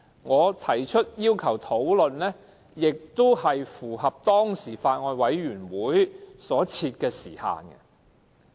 我提出討論的要求，也符合法案委員會所設的時限。